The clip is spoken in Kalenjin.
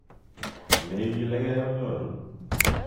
Neigileke konyoru